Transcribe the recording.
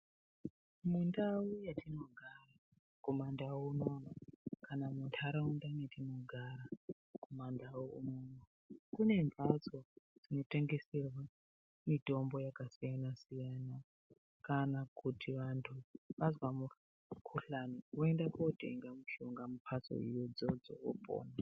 Mundau yetinogara kumaNdau unoono kana mundaraunda metinogara kumaNdau unoono, kune mbatso dzinotengeserwa mitombo yakasiyana-siyana kana kuti vantu vazwa mukuhlani voenda kootenga mushonga mumbatso idzodzo, opona